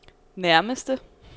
nærmeste